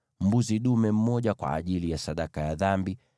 mbuzi dume mmoja kwa ajili ya sadaka ya dhambi;